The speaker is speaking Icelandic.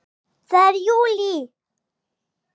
Það er JÚLÍ!